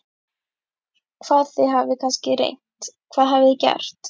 Hvað, þið hafið kannski reynt, hvað hafið þið gert?